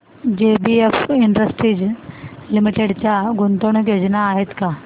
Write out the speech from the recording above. JBF Industries Limited च्या गुंतवणूक योजना आहेत का